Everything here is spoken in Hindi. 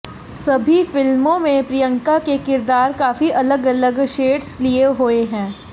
सभी फिल्मों में प्रिंयका के किरदार काफी अलग अलग शेड्स लिए हुए हैं